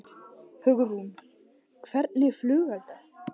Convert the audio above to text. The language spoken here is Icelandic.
Hugrún: Hvernig flugelda?